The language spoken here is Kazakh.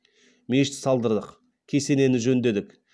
мешіт салдырдық кесенені жөндедік